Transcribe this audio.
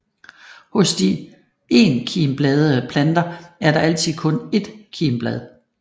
Hos de enkimbladede planter er der altid kun ét kimblad